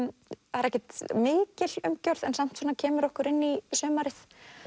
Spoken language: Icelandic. það er ekkert mikil umgjörð en samt svona kemur okkur inn í sumarið